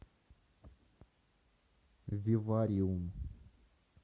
вивариум